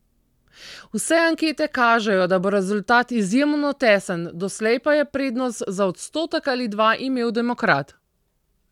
Vse ankete kažejo, da bo rezultat izjemno tesen, doslej pa je prednost za odstotek ali dva imel demokrat.